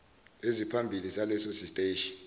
eziphambili zaleso siteshi